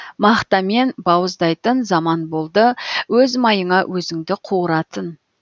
мақтамен бауыздайтын заман болды өз майыңа өзіңді қуыратын